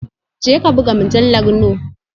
Jeka buga mujallar noe